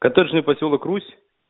коттеджный посёлок русь